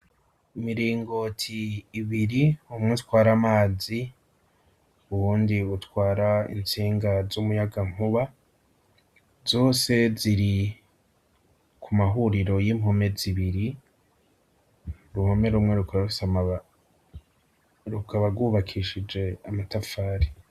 Imiringoti ibiri, umwe utwara amazi, uwundi utwara intsinga z'umuyagankuba, zose ziri ku mahuriro y'impome zibiri uruhome rumwe rukaba gwubakishije amatafari.